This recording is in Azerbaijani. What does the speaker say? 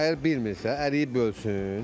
Əgər bilmirsə, əriyi bölsün.